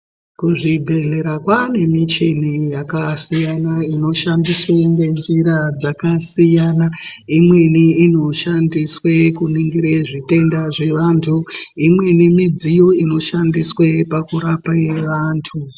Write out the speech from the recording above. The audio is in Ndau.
Ku zvibhedhlera kwane michini yaka siyana ino shandiswe nge nzira dzaka siyana imweni inoshandiswe kuningira zvi tenda zve antu imweni midziyo inoshandiswe pakurapa ye antu.